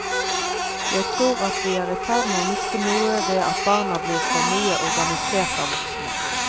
Jeg tror at vi er i ferd å miste noe ved at barna blir for mye organisert av voksne.